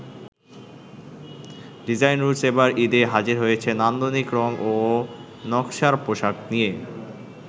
Design roots এবার ঈদে হাজির হয়েছে নান্দনিক রং ও নকশার পোশাক নিয়ে।